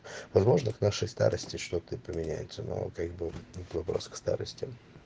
возможно к нашей старости что-то и поменяется но как бы это вопрос к старости